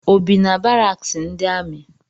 O bi na baraks ndi ami?